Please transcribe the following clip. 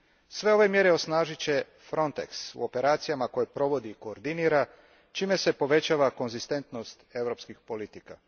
Sve ove mjere osnažit će Frontex u operacijama koje provodi i koordinira čime se povećava konzistentnost europskih politika.